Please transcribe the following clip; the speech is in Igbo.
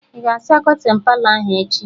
Ị ga-asa kọtịn Palọ ahụ echi?